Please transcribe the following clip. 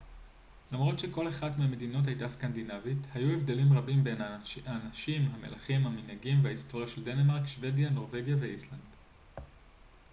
למרות שכל אחת מהמדינות הייתה סקנדינבית' היו הבדלים רבים בין האנשים המלכים המנהגים וההיסטוריה של דנמרק שוודיה נורווגיה ואיסלנד